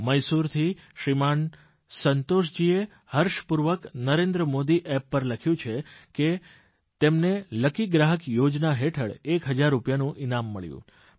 મૈસૂરથી શ્રીમાન સંતોષજીએ હર્ષપૂર્વક નરેન્દ્ર મોદી એપ પર લખ્યું છે કે તેમને લકી ગ્રાહક યોજના હેઠળ એક હજાર રૂપિયાનું ઇનામ મળ્યું